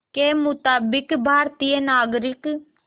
के मुताबिक़ भारतीय नागरिक